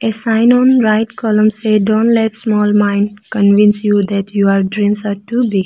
a sign on right column say dont let small mind convince you that your dreams are too big.